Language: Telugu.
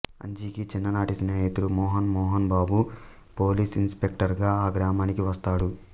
అంజీకి చిన్ననాటి స్నేహితుడు మోహన్ మోహన్ బాబు పోలీస్ ఇన్స్పెక్టర్గా ఆ గ్రామానికి వస్తాడు